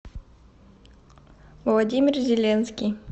владимир зеленский